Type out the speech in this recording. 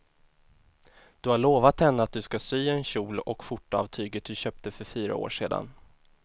Du har lovat henne att du ska sy en kjol och skjorta av tyget du köpte för fyra år sedan.